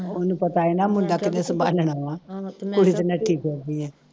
ਉਹਨੂੰ ਪਤਾ ਹੀ ਨਾ ਮੁੰਡਾ ਕਿੰਨੈ ਸੰਭਾਲਣਾ ਵਾ ਕੁੜੀ